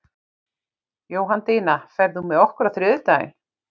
Jóhanndína, ferð þú með okkur á þriðjudaginn?